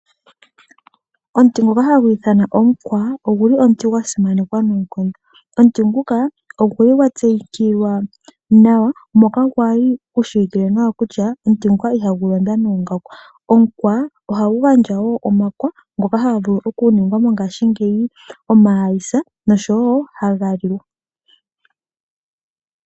Omuti ngoka hagu ithanwa Omukwa, ogu li omuti gwa simanekwa noonkondo. Omuti nguka ogu li gwa tseyikilwa nawa moka gwali gushiwikilwe nawa kutya omuti nguka iha gu londwa noongaku. Omukwa ohagu gandja wo omakwa ngoka haga vulu okuningwa mongaashingeyi omahayisa nosho wo haga liwa.